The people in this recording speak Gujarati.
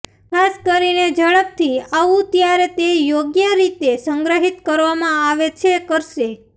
ખાસ કરીને ઝડપથી આવું ત્યારે તે યોગ્ય રીતે સંગ્રહિત કરવામાં આવે છે કરશે